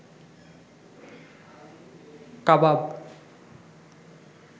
কাবাব